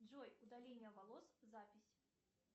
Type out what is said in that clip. джой удаление волос запись